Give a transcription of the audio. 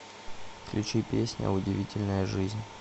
включи песня удивительная жизнь